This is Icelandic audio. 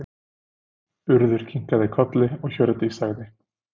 Urður kinkaði kolli og Hjördís sagði